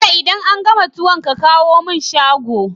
Bello idan an gama tuwon ka kawo mun shago